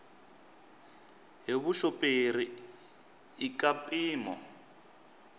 hi vuxoperi i ka mpimo